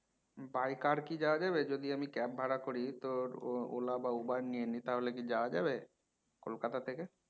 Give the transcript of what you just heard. by car কি যাওয়া যাবে যদি আমি cab ভাড়া করি তো ও~ ওলা বা উবার নিয়ে নি তাহলে কি যাওয়া যাবে? কলকাতা থেকে